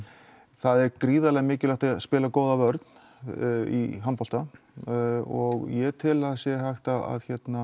það er gríðarlega mikilvægt að spila góða vörn í handbolta og ég tel að það sé hægt að